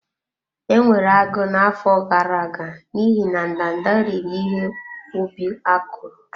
Enwere agụụ n'afọ gara aga n'ihi na ndanda riri ihe ubi akụrụ.